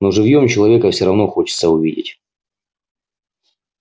но живьём человека всё равно хочется увидеть